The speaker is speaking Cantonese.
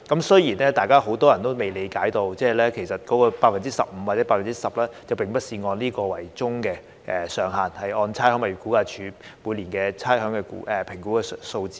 雖然很多人都不理解該上限其實並非硬性規定為 15% 或 10%， 亦要視乎差餉物業估價署半年差餉估評的數字。